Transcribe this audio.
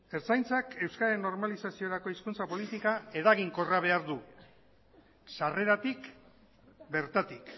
ertzaintzak euskararen normalizaziorako hizkuntza politika eraginkorra behar du sarreratik bertatik